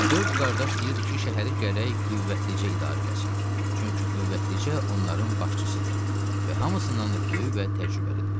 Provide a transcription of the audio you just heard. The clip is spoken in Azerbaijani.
Dörd qardaş deyirdi ki, şəhəri gərək Qüvvəticə idarə eləsin, çünki Qüvvəticə onların başçısıdır və hamısından da böyük və təcrübəlidir.